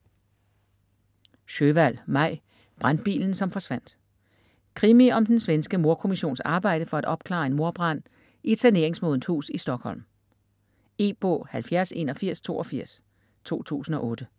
Sjöwall, Maj: Brandbilen som forsvandt Krimi om den svenske mordkommissions arbejde for at opklare en mordbrand i et saneringsmodent hus i Stockholm. E-bog 708182 2008.